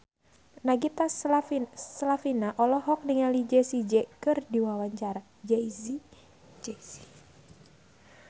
Nagita Slavina olohok ningali Jay Z keur diwawancara